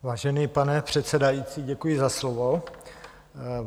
Vážený pane předsedající, děkuji za slovo.